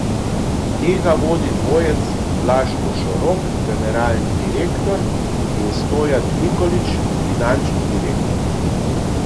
Tega vodi dvojec Blaž Košorok, generalni direktor, in Stojan Nikolič, finančni direktor.